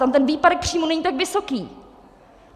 Tam ten výpadek příjmů není tak vysoký.